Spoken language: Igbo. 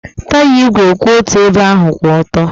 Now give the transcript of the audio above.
Taya ígwè kwụ otu ebe ahụ kwụ ọtọ.